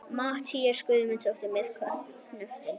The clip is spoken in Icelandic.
Matthías Guðmundsson með knöttinn.